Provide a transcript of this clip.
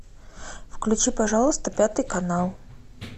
включи пожалуйста пятый канал